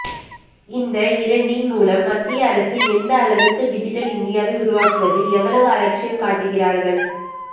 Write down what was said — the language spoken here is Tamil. இந்த இரண்டின் மூலம் மத்திய அரசு எந்த அளவுக்கு டிஜிட்டல் இந்தியாவை உருவாக்குவதில் எவ்வளவு அலட்சியம் காட்டுகிறார்கள்